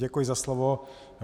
Děkuji za slovo.